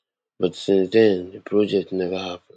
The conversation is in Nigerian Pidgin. but since den di project neva happun